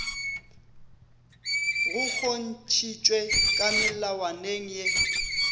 go kgontšhitšwe ka melawaneng ye